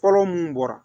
Fɔlɔ mun bɔra